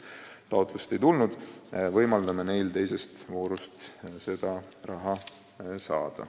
Nüüd Viljandist.